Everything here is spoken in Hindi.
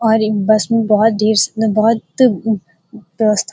और एक बस में बहोत --